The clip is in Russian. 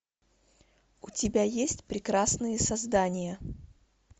у тебя есть прекрасные создания